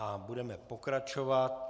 A budeme pokračovat.